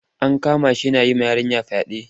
An kama shi yana yi wa yarinya fyaɗe.